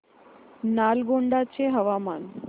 नालगोंडा चे हवामान